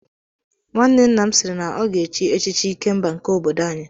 Nwanne nna m siiri na ọ ga-echi echichi Ikemba nke obodo anyị.